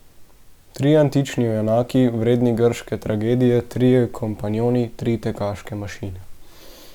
Trije antični junaki, vredni grške tragedije, trije kompanjoni, tri tekaške mašine.